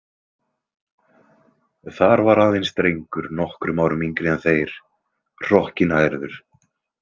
Þar var aðeins drengur nokkrum árum yngri en þeir, hrokkinhærður.